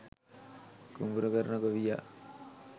කුඹුරු කරන ගොවියා